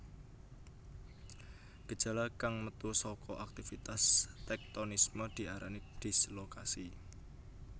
Gejala kang metu saka aktivitas téktonisme diarani dislokasi